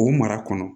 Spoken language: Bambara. O mara kɔnɔ